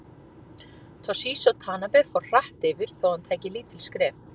Toshizo Tanabe fór hratt yfir þó hann tæki lítil skref.